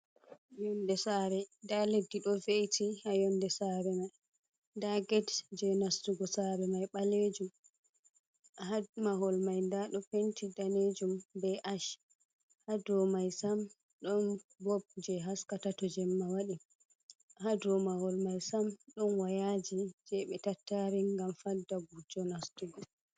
Yonde saare! Nda leddi do ve’iti haa yonde saare mai. Nda get je nastugo saare mai ɓalejum. Haa mahol mai nda ɗo penti danejum be ash. Ha dow mai sam, ɗon bob jee haskata to jemma waɗi. Haa dow mahol mai sam, ɗon wayaaji, jee ɓe tattaari ngam fadda gujjo nastugo.